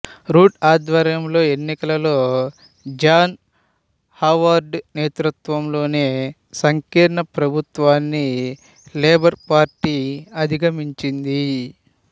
rude ఆధ్వర్యంలో ఎన్నికలలో John Howard నేతృత్వంలోని సంకీర్ణ ప్రభుత్వాన్ని లేబర్ పార్టీ అధిగమించింది